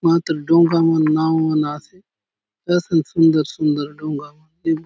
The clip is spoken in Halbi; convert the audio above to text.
मातर डोंगा मन नाव मन आसे कसन सुंदर - सुंदर डोंगा मन--